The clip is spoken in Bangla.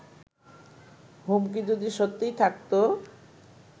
হুমকি যদি সত্যিই থাকত